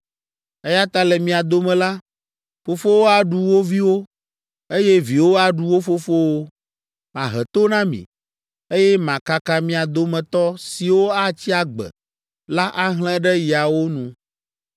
Eya ta le mia dome la, fofowo aɖu wo viwo, eye viwo aɖu wo fofowo. Mahe to na mi, eye makaka mia dometɔ siwo atsi agbe la ahlẽ ɖe yawo nu.’